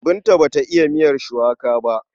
Binta ba ta iya miyar shuwaka ba.